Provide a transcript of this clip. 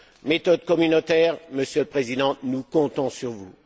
Méthode communautaire Monsieur le Président, nous comptons sur vous.